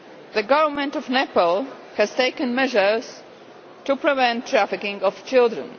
The Government of Nepal has taken measures to prevent the trafficking of children.